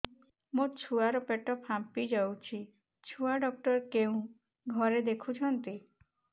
ମୋ ଛୁଆ ର ପେଟ ଫାମ୍ପି ଯାଉଛି ଛୁଆ ଡକ୍ଟର କେଉଁ ଘରେ ଦେଖୁ ଛନ୍ତି